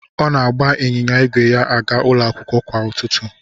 Ọ na-agba ịnyịnya ígwè ya aga ụlọ akwụkwọ kwa ụtụtụ.